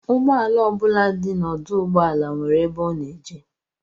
Ụgbọala ọ bụla dị n'ọdụụgbọala nwere ebe ọ na-eje